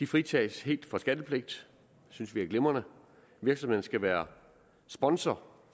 fritages helt for skattepligt det synes vi er glimrende virksomheden skal være sponsor